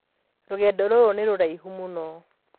Rũgendo rũrũ nĩ rũraihu mũno.